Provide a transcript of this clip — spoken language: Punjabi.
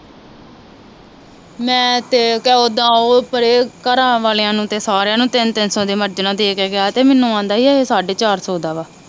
ਤਿੰਨ ਤਿੰਨ ਸੋ ਦੇ ਮਰਜਾਣਾ ਦੇ ਕੇ ਗਿਆ ਤੇ ਮਨੁ ਆਂਦਾ ਸੀ ਏਹੇ ਸਾਡੇ ਚਾਰ ਸੋ ਦਾ ਵਾ